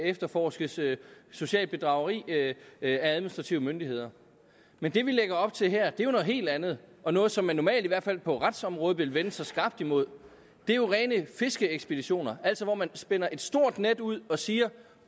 efterforskes socialt bedrageri af administrative myndigheder men det vi lægger op til her er jo noget helt andet og noget som man normalt i hvert fald på retsområdet vil vende sig skarpt imod det er jo rene fiskeekspeditioner altså hvor man spænder et stort net ud og siger